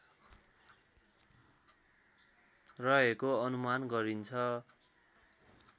रहको अनुमान गरिन्छ